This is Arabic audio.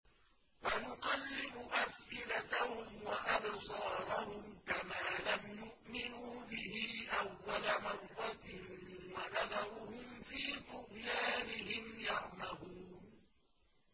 وَنُقَلِّبُ أَفْئِدَتَهُمْ وَأَبْصَارَهُمْ كَمَا لَمْ يُؤْمِنُوا بِهِ أَوَّلَ مَرَّةٍ وَنَذَرُهُمْ فِي طُغْيَانِهِمْ يَعْمَهُونَ